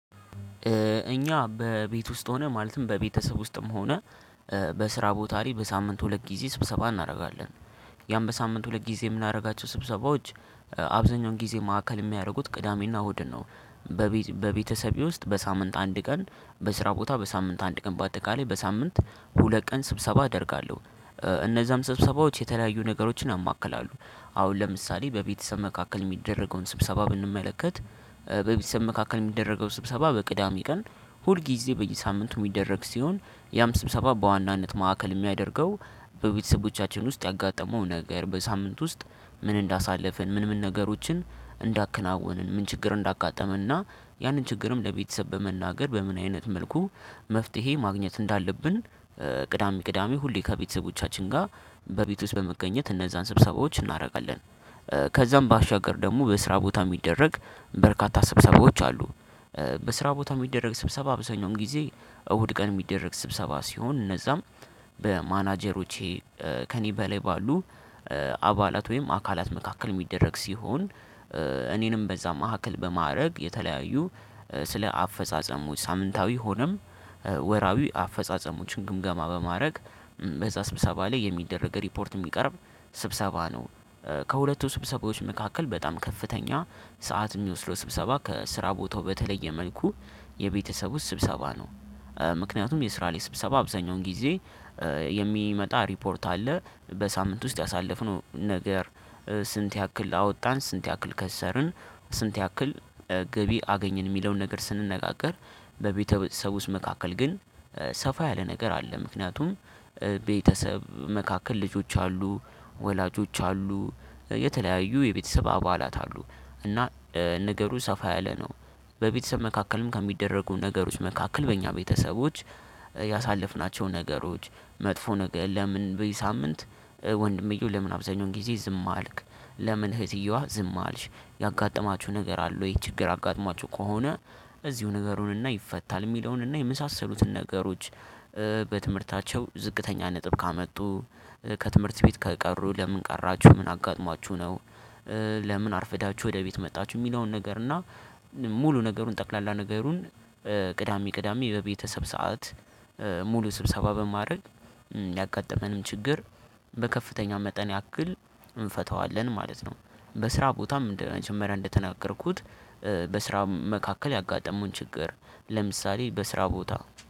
እኛ በቤት ውስጥ ሆነ ማለትም በቤተሰብ ውስጥም ሆነ በስራ ቦታ ላይ በሳምንት ሁለት ጊዜ ስብሰባ እናረጋለን። ያም በሳምንት ሁለት ጊዜ ምናደርጋቸው ስብሰባዎች። አብዛኛውን ጊዜ ማዕከል የሚያደርጉት ቅዳሜና እሁድን ነው። በቤት በቤተሰቤ ውስጥ በሳምንት አንድ ቀን በስራ ቦታ በሳምንት አንድ ቀን በአጠቃላይ በሳምንት ሁለት ቀን ስብሰባ አደርጋለሁ። እነዛም ስብሰባዎች የተለያዩ ነገሮችን ያማክላለሁ አሁን ለምሳሌ በቤተሰብ መካከል የሚደረገውን ስብሰባ ብንመለከት። በቤተሰብ መካከል የሚደረገው ስብሰባ በቅዳሜ ቀን ሁልጊዜ በየሳምንቱ የሚደረግ ሲሆን ያም ስብሰባ በዋናነት ማዕከል የሚያደርገው በቤተሰቦቻችን ውስጥ ያጋጠመው ነገር በሳምንት ውስጥ ምን እንዳሳለፍን ምን ምን ነገሮችን እንዳከናውንን ምን ችግር እንዳጋጠመና ያንን ችግርም ለቤተሰብ በመናገር በምን አይነት መልኩ መፍትሄ ማግኘት እንዳለብን። ቅዳሜ ቅዳሜ ሁሌ ከቤተሰቦቻችን ጋር በቤት ውስጥ በመገኘት እነዛን ስብሰባዎች እናደርጋለን። ከዛም ባሻገር ደግሞ በስራ ቦታ የሚደረግ በርካታ ስብሰባዎች አሉ። በስራ ቦታ እሚደረግ ስብሰባ አብዛኛውን ጊዜ እሁድ ቀን የሚደረግ ስብሰባ ሲሆን እነዛም በማናጀሮቼ ከእኔ በላይ ባሉ አባላት ወይም አካላት መካከል እሚደረግ ሲሆን። እኔንም በዛ መካከል በማዕረግ የተለያዩ ስለ አፈጻጸሙ ሳምንታዊ ሆነም ወራዊ አፈጻጸሞችን ግምገማ በማድረግ በዛ ስብሰባ ላይ የሚደረግ ሪፖርት እሚቀርብ ስብሰባ ነው። ከሁለቱ ስብሰባዎች መካከል በጣም ከፍተኛ ሰዓት የሚወስደው ስብሰባ ከስራ ቦታው በተለየ መልኩ የቤተሰቡ ስብሰባ ነው። ምክንያቱም የስራ ላይ ስብሰባ አብዛኛውን ጊዜ የሚመጣ ሪፖርት አለ በሳምንት ውስጥ ያሳለፍነው ነገር ስንት ያክል አወጣን ስንት ያክል ከሰርን ስንት ያክል ገቢ አገኘን የሚለውን ነገር ስንነጋገር። በቤተሰብ ውስጥ መካከል ግን ሰፋ ያለ ነገር አለ ምክንያቱም። ቤተሰብ መካከል ልጆች አሉ ወላጆች አሉ የተለያዩ የቤተሰብ አባላት አሉ እና ነገሩ ሰፋ ያለ ነው። በቤተሰብ መካከልም ከሚደረጉ ነገሮች መካከል በእኛ ቤተሰቦች ያሳለፍናቸውን ነገሮች መጥፎ ነገር ለምን በዚህ ሳምንት ወንድምየው ለምን አብዙኛውን ጊዜ ዝም አልክ? ለምን እህትየዋ ዝም አልሽ? ያጋጠማችሁ ነገር አለ ወይ ችግር አጋጠማችሁ ከሆነ? እዚሁ ንገሩን እና ይፈታል የሚለውን እና የመሳሰሉትን ነገሮች። በትምህርታቸው ዝቅተኛ ነጥብ ካመጡ ከትምህርት ቤት ከቀሩ ለምን ቀራችሁ ምን አጋጥሟችሁ ነው? ለምን አርፍዳችሁ ወደ ቤት መጣችሁ የሚለውን ነገር እና ሙሉ ነገሩን ጠቅላላ ነገሩን። ቅዳሜ ቅዳሜ በቤተሰብ ሰዓት ሙሉ ስብሰባ በማድረግ ያጋጠመንም ችግር በከፍተኛ መጠን ያክል እንፈታዋለን ማለት ነው። በስራ ቦታም እንደ መጀመሪያ እንደተናገርኩት በስራ መካከል ያጋጠሙን ችግር ለምሳሌ በስራ ቦታ